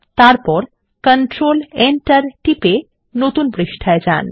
তারপর control Enter টিপে নতুন পৃষ্ঠায় যান